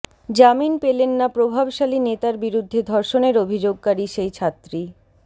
জামিন পেলেন না প্রভাবশালী নেতার বিরুদ্ধে ধর্ষণের অভিযোগকারী সেই ছাত্রী